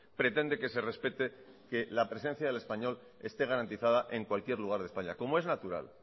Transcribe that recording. pretende que se respete la presencia del español esté garantizada en cualquier lugar de españa como es natural